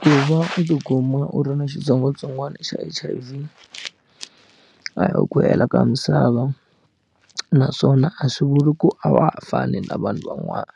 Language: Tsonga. Ku va u tikuma u ri na xitsongwatsongwana xa H_I_V a hi ku hela ka misava naswona a swi vuli ku a wa ha fani na vanhu van'wana